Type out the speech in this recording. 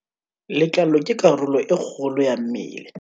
letlalo ke karolo e kgolo ya mmele